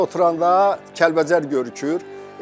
Burdan oturanda Kəlbəcər görükür.